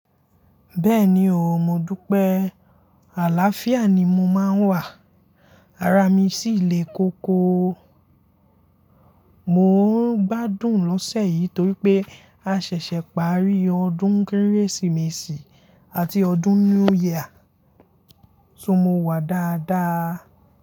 Bẹ́ẹ̀ni o, mo dupe. Àláfíà ni mo máa ń wà, ara mi sì le koko. Mo ń gbádùn lọ́sẹ̀ yìí torí pé a ṣẹ̀ṣẹ̀ parí ọdún Kérésìmesì àti ọdún New Year, so mo wà dáadáa.